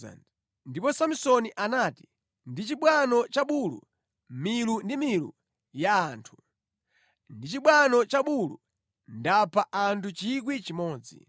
Ndipo Samsoni anati, “Ndi chibwano cha bulu, milu ndi milu ya anthu. Ndi chibwano cha bulu, ndapha anthu 1,000.”